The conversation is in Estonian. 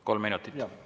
Kolm minutit, palun!